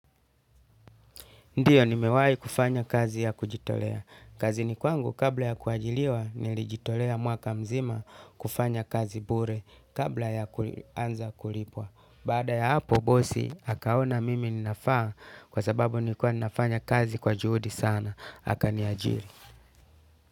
Ndiyo ni mewahi kufanya kazi ya kujitolea. Kazini kwangu kabla ya kuajiliwa nilijitolea mwaka mzima kufanya kazi bure kabla ya kuanza kulipwa. Baada ya hapo bosi akaona mimi ninafaa kwa sababu nilikuwa ninafanya kazi kwa juhudi sana akaniajiri.